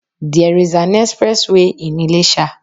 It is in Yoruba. There is an express way in Ilesa